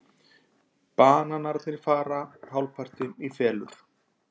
Bananarnir fara hálfpartinn í felur.